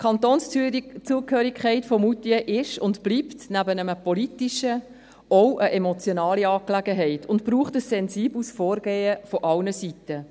Die Kantonszugehörigkeit von Moutier ist und bleibt, nebst einer politischen, auch eine emotionale Angelegenheit und braucht ein sensibles Vorgehen von allen Seiten.